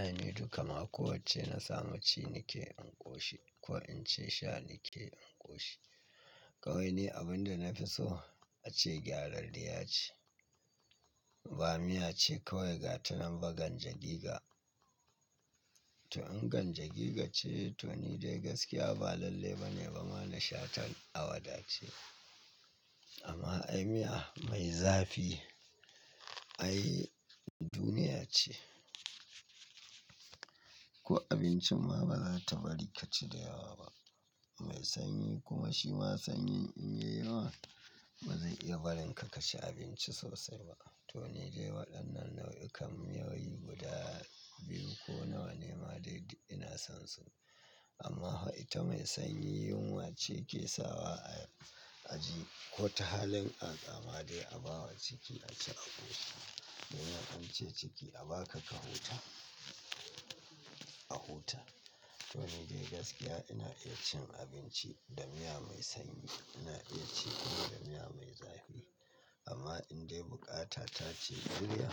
Ainihi dukama ko wacce na samu ci nike in koshi ko in ce sha nike in koshi kawai ne abin da na fi so a ce gyadarriya ce ba miya ce kawai gatanin ba ganjagiga to in ganjagiga ce to ni dai gaskiya ba lalle bane bana nasha tan awada ce amma ai miya mai zafi ai duniya ce ko abincin ma bazata bari kaci da yawa ba mai sanyi kuma shi ma sanyi in yayi wa bazai iya barinka kaci abinci sosai ba to ni dai waɗannan nau'ikan yawayi guda biyu ko nawa ne ma dai ina son su amma wai ta mai sanyi yunwa ce ke sawa a aci ko ta halin aƙama dai a bawa ciki ace a ƙoshi domin an ce ciki a baka ka huta a huta to ni dai gaskiya ina iya cin abinci da miya mai sanyi ina iya ci kuma da miya mai zafi amma in dai buƙata ta ce ƙarya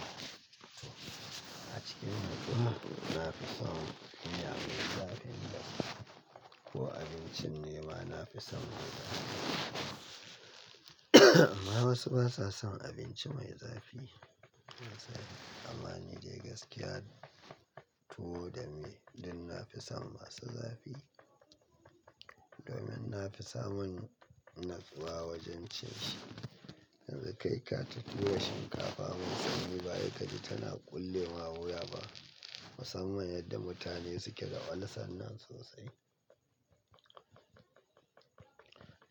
a cikin nutsuwa nafi son miya mai zafi na ko abincin ne ma nafi son mai zafi amma wasu basa son abinci mai zafi amma ni dai gaskiya tuwo da miya dak nafi son masu zafi domin nafi samun natsuwa wajen cin shi yanzu kai ka ta tura shinkafa mai sanyi ba sai kaji tana ƙulle ma wuya ba musamman yadda mutane suke da ulcer nan sosai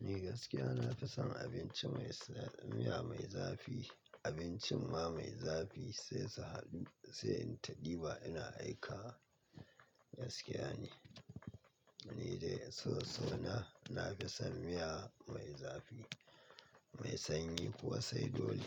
ni gaskiya nafi son abinci mai sa miya mai zafi abincin ma mai zafi sai in ta ɗiba ina aikawa, gaskiya ne, ni dai in so sona nafi son miya mai zafi, mai sanyi kuwa sai dole.